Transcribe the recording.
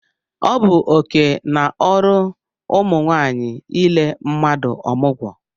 Ọ bụ oké na ọrụ ụmụ nwaanyị ile mmadụ ọmụgwọ